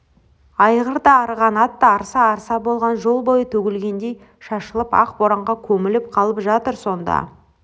айғыр да арыған атта арса-арса болған жол бойы төгілгендей шашылып ақ боранға көміліп қалып жатыр сонда